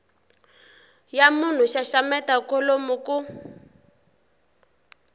ya munhu xaxameta kholomo ku